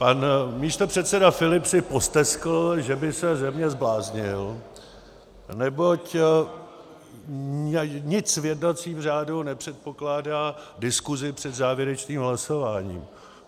Pan místopředseda Filip si posteskl, že by se ze mě zbláznil, neboť nic v jednacím řádu nepředpokládá diskusi před závěrečným hlasováním.